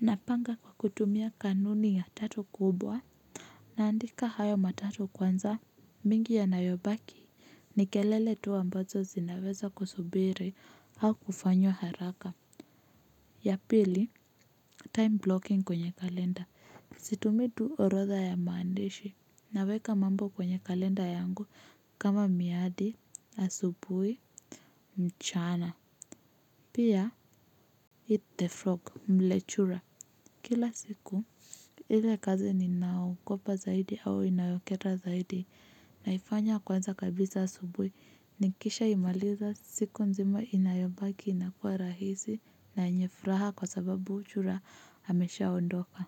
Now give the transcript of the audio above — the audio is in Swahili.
Napanga kwa kutumia kanuni ya tatu kubwa. Naandika hayo matatu kwanza. Mingi yanayobaki ni kelele tu ambazo zinaweza kusubiri au kufanya haraka. Ya pili time blocking kwenye kalenda situmii tu orotha ya maandishi, naweka mambo kwenye kalenda yangu kama miadi. Asubuhi, mchana. Pia, Eat the frog mle chura. Kila siku, ile kazi ninaogopa zaidi au inayokera zaidi naifanya kwanza kabisa subuhi nikishaimaliza, siku nzima inayobaki inakuwa rahisi na yenye furaha kwa sababu chura ameshaondoka.